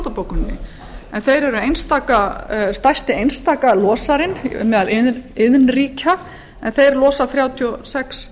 kýótó bókuninni þeir eru stærsti einstaki losarinn meðal iðnríkja en þeir losa þrjátíu og sex